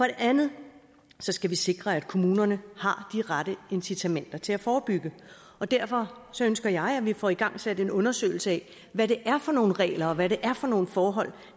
det andet skal vi sikre at kommunerne har de rette incitamenter til at forebygge og derfor ønsker jeg at vi får igangsat en undersøgelse af hvad det er for nogle regler og hvad det er for nogle forhold